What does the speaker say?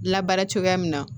Labaara cogoya min na